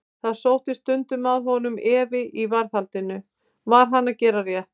Það sótti stundum að honum efi í varðhaldinu: var hann að gera rétt?